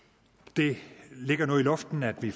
det ligger nu i luften at vi